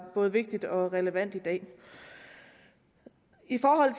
både vigtigt og relevant i dag i forhold